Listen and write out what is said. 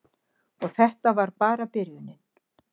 Og þetta var bara byrjunin.